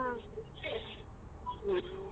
ಆ ಸರಿ .